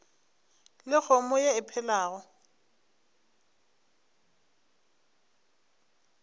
le kgomo ye e phelago